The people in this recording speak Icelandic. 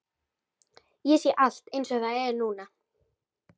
Ég sé allt einsog það er núna.